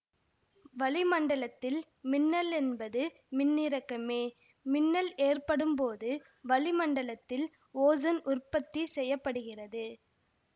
வளி மண்டலத்தில் மின்னல் என்பது மின்னிறக்கமே மின்னல் ஏற்படும்போது வளிமண்டலத்தில் ஓசன் உற்பத்தி செய்ய படுகிறது